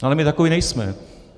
Ale my takoví nejsme.